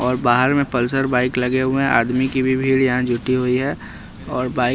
और बाहर में पल्सर बाइक लगे हुए हैं आदमी की भीड़ यहाँ जुटी हुई है और बाइक--